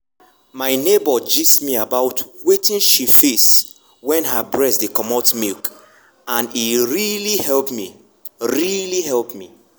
my neighbor gist me about wetin she face wen her breast dey comot milk and e really help me. really help me.